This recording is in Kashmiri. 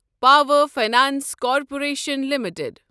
power finance corporation limited